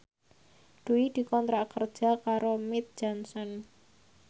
Dwi dikontrak kerja karo Mead Johnson